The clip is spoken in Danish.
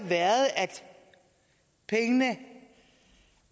været at pengene